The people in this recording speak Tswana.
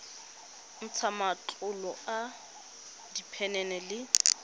ntsha matlolo a diphenene le